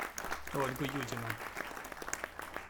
ольгу юдину